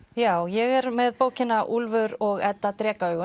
já ég er með bókina Úlfur og Edda